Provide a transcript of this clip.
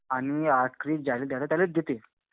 आणि आखरी ज्याला द्यायचं त्याला देते.